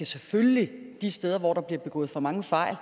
selvfølgelig de steder hvor der bliver begået for mange fejl